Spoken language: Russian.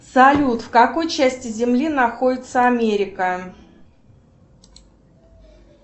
салют в какой части земли находится америка